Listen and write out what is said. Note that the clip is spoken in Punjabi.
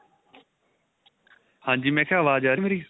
ਹਾਂਜੀ ਮੈਂ ਕਿਹਾ ਆਵਾਜ ਆ ਰਹੀ ਏ ਮੇਰੀ